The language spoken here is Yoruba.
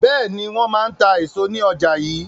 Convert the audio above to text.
Bẹ́ẹ̀ni, wọn máa ń ta èso ní ọjà yii.